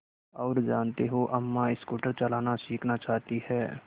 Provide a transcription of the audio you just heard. और जानते हो अम्मा स्कूटर चलाना सीखना चाहती हैं